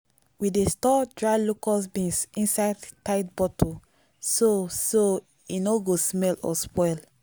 we dey store dry locust beans inside tight bottle so so e no go smell or spoil.